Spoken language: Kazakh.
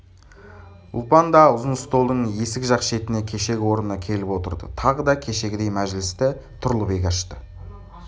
ұлпан да ұзын столдың есік жақ шетіне кешегі орнына келіп отырды тағы да кешегідей мәжілісті тұрлыбек ашты